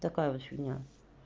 такая вот фигня